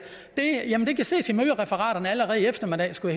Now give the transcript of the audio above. jamen det kan ses i mødereferatet allerede i eftermiddag skulle